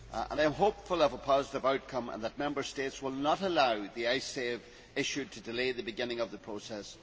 I am hopeful of a positive outcome and that Member States will not allow the Icesave issue to delay the beginning of the process.